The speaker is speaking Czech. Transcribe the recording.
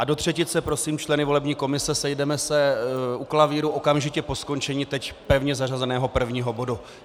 A do třetice prosím členy volební komise, sejdeme se u klavíru okamžitě po skončení teď pevně zařazeného prvního bodu.